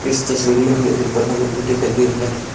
इस तस्वीर में हमें एक बड़ा नदी दिखाई दे रहा है।